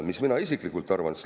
Mis mina isiklikult arvan?